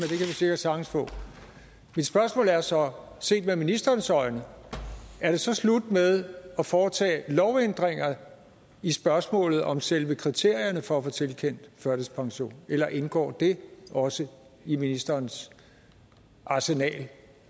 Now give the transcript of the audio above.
sikkert sagtens få mit spørgsmål er så set med ministerens øjne er det så slut med at foretage lovændringer i spørgsmålet om selve kriterierne for at få tilkendt førtidspension eller indgår det også i ministerens arsenal